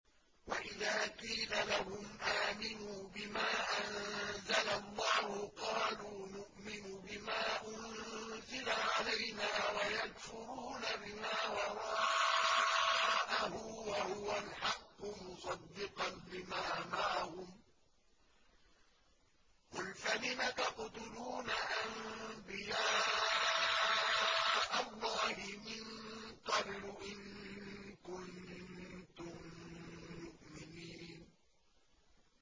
وَإِذَا قِيلَ لَهُمْ آمِنُوا بِمَا أَنزَلَ اللَّهُ قَالُوا نُؤْمِنُ بِمَا أُنزِلَ عَلَيْنَا وَيَكْفُرُونَ بِمَا وَرَاءَهُ وَهُوَ الْحَقُّ مُصَدِّقًا لِّمَا مَعَهُمْ ۗ قُلْ فَلِمَ تَقْتُلُونَ أَنبِيَاءَ اللَّهِ مِن قَبْلُ إِن كُنتُم مُّؤْمِنِينَ